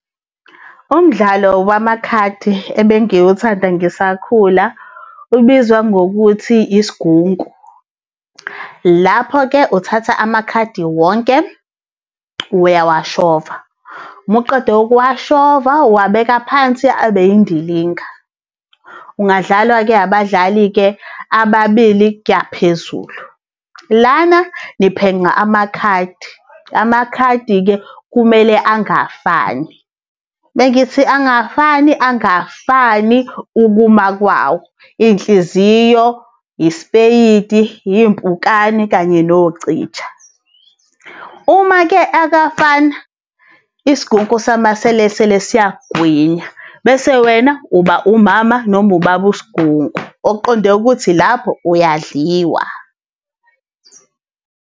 Umdlalo wamakhadi ebengiwuthanda ngisakhula ubizwa ngokuthi isigunku. Lapho-ke uthatha amakhadi wonke uyawashova, muqeda ukuwashova uwabeka phansi abe indilinga. Ungadlalwa-ke abadlali-ke ababili kuyaphezulu. Lana niphenqa amakhandi, amakhadi kumele angafani. Mengithi angafani, angafani ukuma kwawo. Iy'nhliziyo, isipeyidi, iy'mpukane kanye nocija. Uma-ke akafana, isigunku samaselesele siyakugwinya. Bese wena umama noma ubaba usigunku, okuqonde ukuthi lapho uyadliwa.